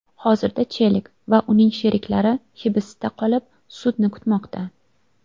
Hozirda Chelik va uning sheriklari hibsda qolib, sudni kutmoqda.